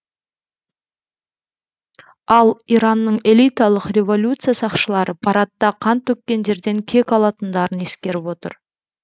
ал иранның элиталық революция сақшылары парадта қан төккендерден кек алатындарын ескеріп отыр